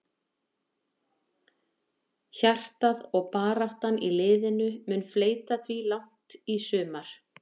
Hjartað og baráttan í liðinu mun fleyta því langt í sumar.